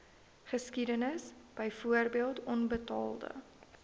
geskiedenis byvoorbeeld onbetaalde